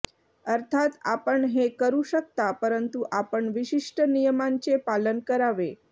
अर्थात आपण हे करू शकता परंतु आपण विशिष्ट नियमांचे पालन करावे